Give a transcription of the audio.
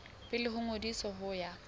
pele ho ngodiso ho ya